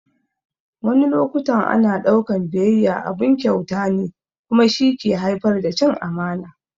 Wani loƙutan ana daukan ɓiyayya abun kyauta ne kuma shi ke haifar da cin amana.